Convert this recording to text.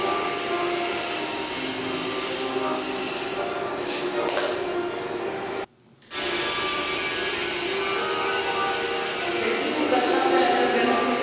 Desigur că statele membre nu sunt egale nici în modul în care asigură protecția granițelor Uniunii Europene și nici în nivelul de criminalitate, inclusiv, după cum ați spus,